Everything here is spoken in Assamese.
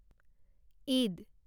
ঈদ